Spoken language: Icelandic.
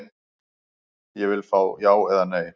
Ég vill fá já eða nei.